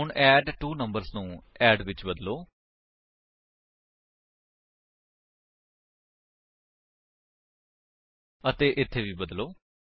ਹੁਣ ਐਡਟਵੋਨੰਬਰਸ ਨੂੰ ਅੱਡ ਵਿੱਚ ਬਦਲੋ ਅਤੇ ਇੱਥੇ ਵੀ ਬਦਲੋ